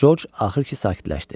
Corc axır ki, sakitləşdi.